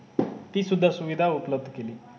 ती सुद्धा उपलब्ध केली